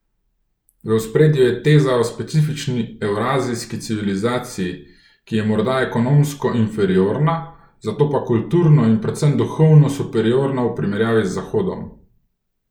V ospredju je teza o specifični evrazijski civilizaciji, ki je morda ekonomsko inferiorna, zato pa kulturno in predvsem duhovno superiorna v primerjavi z zahodom.